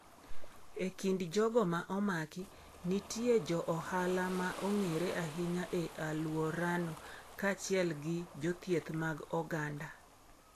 E kind jogo ma omaki, nitie jo ohala ma ong’ere ahinya e alworano kaachiel gi jothieth mag oganda.